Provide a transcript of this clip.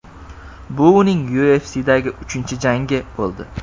Bu uning UFC’dagi uchinchi jangi bo‘ldi.